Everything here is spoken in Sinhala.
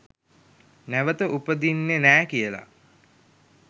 නැවත උපදින්නෙ නෑ කියලා.